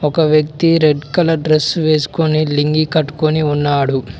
ఒక వ్యక్తి red colour dress వేసుకుని లింగి కట్టుకుని ఉన్నాడు.